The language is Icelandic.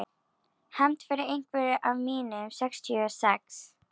Hefnd fyrir einhvern af mínum sextíu og sex.